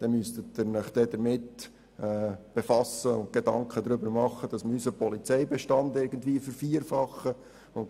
Wir müssten unseren Polizeibestand irgendwie vervielfachen, wenn der Staat – das heisst, die Polizei – dies selber übernehmen müsste.